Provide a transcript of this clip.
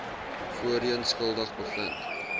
voorheen skuldig bevind